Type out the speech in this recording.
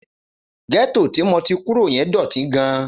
Gẹ́tò tí mo ti kúrò yẹn dọ̀tí gan-an.